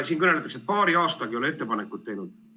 Siin kõneldakse, et paari aastaga ei ole ettepanekut tehtud.